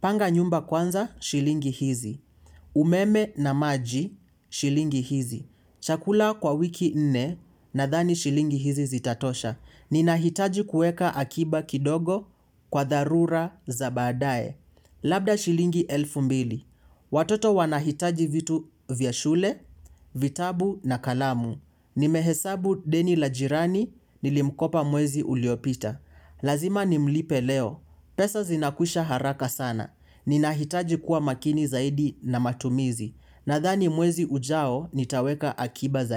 Panga nyumba kwanza, shilingi hizi. Umeme na maji, shilingi hizi. Chakula kwa wiki nne, na dhani shilingi hizi zitatosha. Ninahitaji kueka akiba kidogo, kwa dharura, za baadae. Labda shilingi elfu mbili. Watoto wanahitaji vitu vya shule, vitabu na kalamu. Nimehesabu deni la jirani, nilimkopa mwezi uliopita. Lazima nimlipe leo. Pesa zinakwisha haraka sana. Ninahitaji kuwa makini zaidi na matumizi. Nathani mwezi ujao. Nitaweka akiba zai.